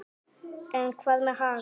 En hvað með Haga?